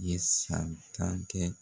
Ye san tan kɛ